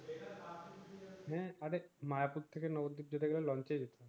হ্যাঁ মায়াপুর থেকে নগর ডিপ যেতে গেলে লঞ্চ এ যেতে হয়